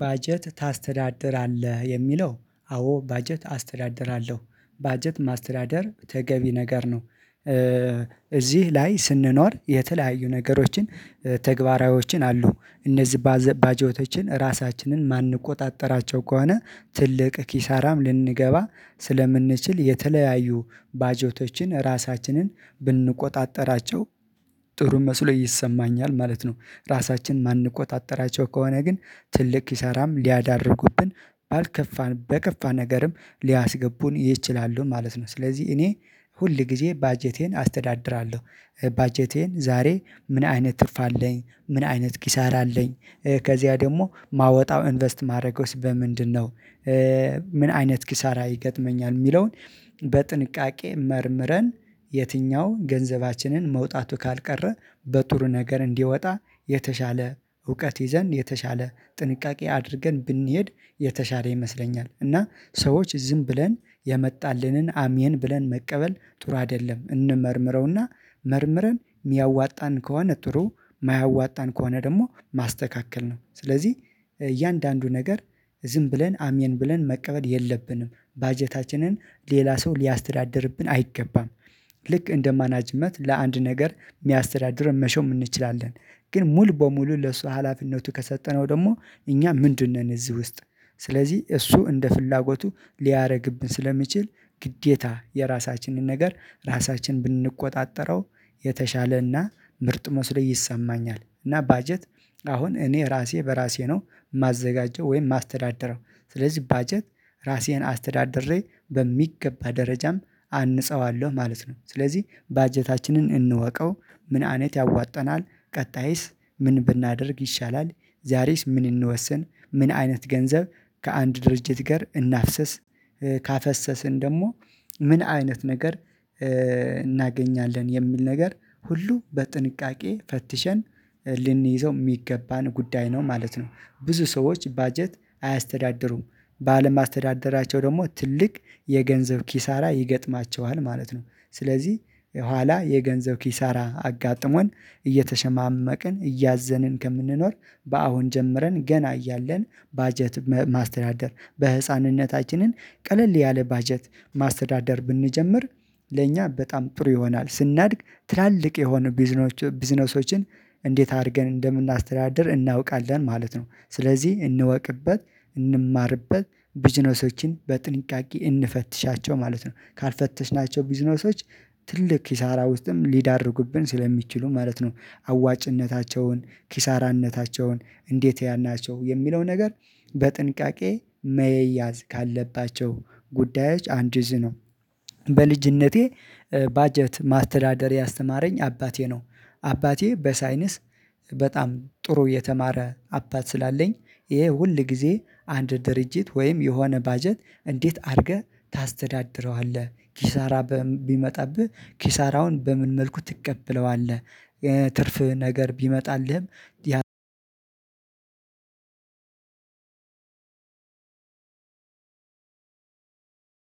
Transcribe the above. ባጀት ታስተዳድራለህ የሚለው አዎ ባጀት አስተዳድራለሁ ባጀት ማስተዳደር ተገቢ ነገር ነው። እዚህ ላይ ስንኖር የተለያዩ ነገሮችን ተግባራዊዎችን አሉ እነዚህ ባዘጀቶችን ራሳችንን የማንቆጣጠራቸው ከሆነ ትልቅ ኪሳራም ልንገባ ስለምንችል የተለያዩ ባጀቶችን ራሳችንን ብንቆጣጠራቸው ጥሩ መስሎ ይሰማኛል ማለት ነው። ራሳችን ማንቆጣጠራቸው ከሆነ ግን ትልቅ ኪሳራም ሊያዳርጉብን ባልከፋን በከፋ ነገርም ሊያስገቡን ይችላሉ ማለት ነው። ስለዚህ እኔ ሁልጊዜ ባጀቴን አስተዳድራለሁ። ባጀቴን ዛሬ ምን አይነት ትርፍ አለኝ ምን አይነት ኪሳራ አለኝ ከዚያ ደግሞ ማወጣው ኢንቨስት ማደረገውስ በምንድንነው ምን አይነት ኪሳራ ይገጥመኛል የሚለውን? በጥንቃቄ መርምረን የትኛው ገንዘባችንን መውጣቱ ካልቀረ በጥሩ ነገር እንዲወጣ የተሻለ እውቀት ይዘን የተሻለ ጥንቃቄ አድርገን ብንሄድ የተሻለ ይመስለኛል። እና ሰዎች ዝም ብለን የመጣልንን አሜን ብለን መቀበል ጥሩ አይደለም። እንመርምረው እና መርምረን የሚያዋጣን ከሆነ ጥሩ የማያዋጣን ከሆነ ደግሞ ማስተካከል ነው። ስለዚህ እያንዳንዱ ነገር ዝም ብለን አሜን ብለን መቀበል የለብንም ባጀታችንን ሌላ ሰው ሊያስተዳድርብን አይገባም። ልክ እንደማናጅመት ለአንድ ነገር የሚያስተዳድርን መሾም እንችላለን። ግን ሙሉ በሙሉ ለሱ ሀላፊነቱ ከሰጠነው ደግሞ እኛ ምንድን ነን? እዚህ ውስጥ ስለዚህ እሱ እንደ ፍላጎቱ ሊያደርግብን ስለሚችል ግዴታ የራሳችንን ነገር ራሳችን ብንቆጣጠረው የተሻለ እና ምርጥ መስሎ ይሰማኛል። እና ባጀት አሁን እኔ ራሴ በራሴ ነው የማዘጋጀው ወይም የማስተዳደረው። ስለዚህ ባጀት ራሴን አስተዳደሬ በሚገባ ደረጃም አንጸዋለሁ ማለት ነው። ስለዚህ ባጀታችንን እንወቀው ምን አይነት ያዋጣናል ቀጣይስ ምን ብናደርግ ይሻላል? ዛሬስ ምን እንወስን ምን አይነት ገንዘብ ከአንድ ድርጅት ጋር እናፍሰስ። ካፈሰስን ደግሞ ምን አይነት ነገር እናገኛለን የሚል ነገር ሁሉ በጥንቃቄ ፈትሸን ልንይዘው የሚገባን ጉዳይ ነው ማለት ነው። ብዙ ሰዎች ባጀት አያስተዳድሩም ባለማስተዳደራቸው ደግሞ ትልቅ የገንዘብ ኪሳራ ይገጥማቸዋል ማለት ነው። ስለዚህ ኋላ የገንዘብ ኪሳራ አጋጥሞን እየተሸማመቅን እያዘንን ከምንኖር በአሁን ጀምረን ገና እያለን ባጀት ማስተዳደር በህፃንነታችንን ቀለል ያለ ባጀት ማስተዳደር ብንጀምር ለእኛ በጣም ጥሩ ይሆናል። ስናድግ ትላልቅ የሆኑ ቢዝነሶችን እንዴት አድርገን እንደምናስተዳድር እናውቃለን ማለት ነው። ስለዚህ እንወቅበት እንማርበት ቢዝነሶችን በጥንቃቄ እንፈትሻቸው ማለት ነው። ካልፈተሽናቸው ቢዝነሶች ትልቅ ኪሳራ ውስጥም ሊዳርጉብን ስለሚችሉ ማለት ነው አዋጭነታቸውን ኪሳራነታቸውን እንዴት ያን ናቸው የሚለው ነገር በጥንቃቄ መያዝ ካለባቸው ጉዳያች አንዱ እዙ ነው። በልጅነቴ ባጀት ማስተዳደር ያስተማረኝ አባቴ ነው። አባቴ በሳይንስ በጣም ጥሩ የተማረ አባት ስላለኝ ይሄ ሁል ጊዜ አንድ ድርጅት ወይም የሆነ ባጀት እንዴት አድርገህ ታስተዳድረዋለህ ኪሳራ በም ቢመጣብህ ኪሳራውን በምን መልኩ ትቀበለዋለህ? የትርፍ ነገር ቢመጣልህም